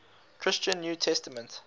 christian new testament